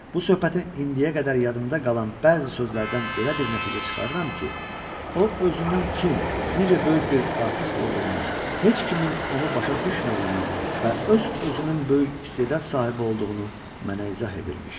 Bu söhbətin indiyə qədər yadımda qalan bəzi sözlərdən belə bir nəticə çıxarıram ki, o özünün kim, necə böyük bir artist olduğunu, heç kimin onu başa düşmədiyini və öz-özünün böyük istedad sahibi olduğunu mənə izah edilmiş.